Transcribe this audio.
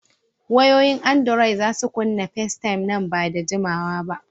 Wayoyin andiroi za su kunna Festaym nan ba da jimawa ba.